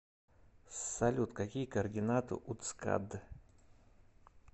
салют какие координаты у цкад